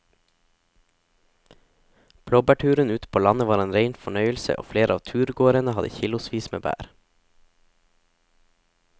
Blåbærturen ute på landet var en rein fornøyelse og flere av turgåerene hadde kilosvis med bær.